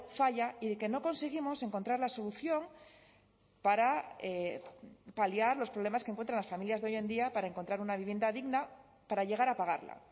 falla y de que no conseguimos encontrar la solución para paliar los problemas que encuentran las familias de hoy en día para encontrar una vivienda digna para llegar a pagarla